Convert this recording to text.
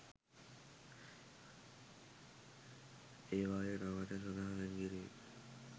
ඒවායේ නවාතැන් සඳහා වෙන් කිරීම්